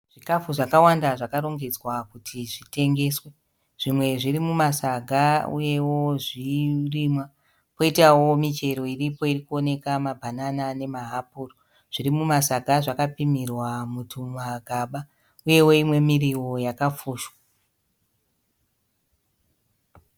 Zvikafu zvakawanda zvakarongedzwa kuri zvitengeswe. Zvimwe zviri mumasaga uyewo zvirimwa kwoitawo michero iripo iri kuoneka mabanana nemahapuro. Zviri mumasaga zvakapimirwa mutumagaba uyewo imwe miriwo yakafushwa.